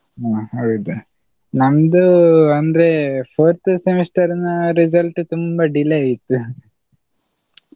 ಹಾ ಹೌದು ನಮ್ದು ಅಂದ್ರೆ fourth semester ನ result ತುಂಬಾ delay ಇತ್ತು.